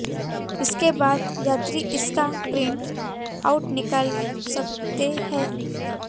इसके बाद यात्री इसका प्रिंट आउट निकाल सकते है